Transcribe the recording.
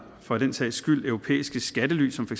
for den sags skyld europæiske skattely som for